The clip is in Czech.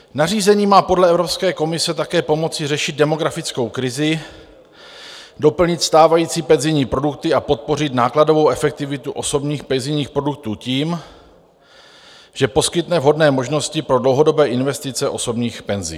Nařízení má podle Evropské komise také pomoci řešit demografickou krizi, doplnit stávající penzijní produkty a podpořit nákladovou efektivitu osobních penzijních produktů tím, že poskytne vhodné možnosti pro dlouhodobé investice osobních penzí.